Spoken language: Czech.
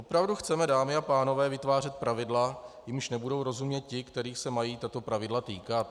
Opravdu chceme, dámy a pánové, vytvářet pravidla, jimž nebudou rozumět ti, kterých se mají tato pravidla týkat?